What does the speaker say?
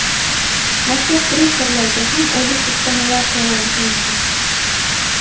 Maktab direktorlariga ham oylik ustamalar to‘lanishi mumkin.